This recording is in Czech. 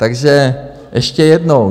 Takže ještě jednou.